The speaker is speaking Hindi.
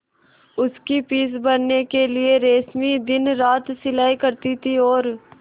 उसकी फीस भरने के लिए रश्मि दिनरात सिलाई करती थी और